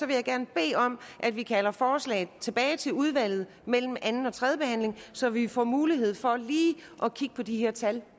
jeg gerne bede om at vi kalder forslaget tilbage til udvalget mellem anden og tredje behandling så vi får mulighed for lige at kigge på de her tal